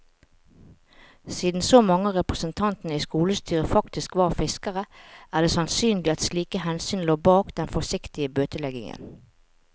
Siden så mange av representantene i skolestyret faktisk var fiskere, er det sannsynlig at slike hensyn lå bak den forsiktige bøteleggingen.